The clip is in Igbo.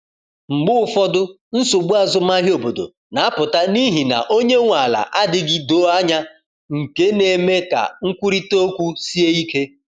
Mgbe ụfọdụ, nsogbu azụmahịa obodo na-apụta n’ihi na onye nwe ala adịghị doo anya, nke na-eme ka nkwurịta okwu sie ike.